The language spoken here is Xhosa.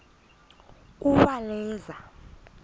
uwaleza